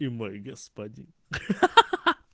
и мой господин ха-ха